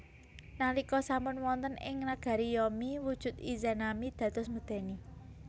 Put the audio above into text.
Nalika sampun wonten ing nagari Yomi wujud Izanami dados medèni